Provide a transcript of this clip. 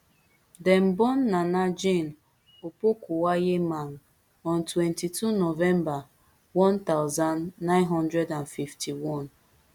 dem born naana jane opokuagyemang on twenty-two november one thousand, nine hundred and fifty-one